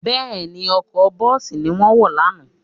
Bẹ́ẹ̀ni, ọkọ̀ bọ́ọ̀sì ni wọ́n wọ̀ lánàá